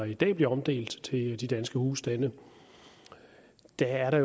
i dag bliver omdelt til de danske husstande at der er